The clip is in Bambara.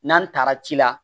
N'an taara ci la